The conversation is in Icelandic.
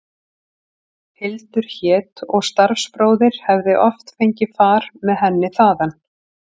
Hildur hét og starfsbróðir hefði oft fengið far með henni þaðan.